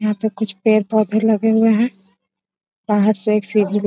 यहां पे कुछ पेड़-पौधे लगे हुए हैं बाहर से एक सीढ़ी --